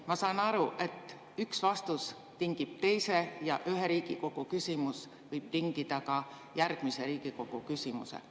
Ma saan aru, et üks vastus tingib teise ja üks küsimus võib tingida ka järgmise küsimuse.